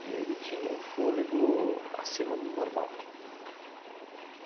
E ele tinha um fôlego acima do normal.